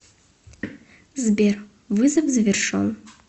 сбер вызов завершен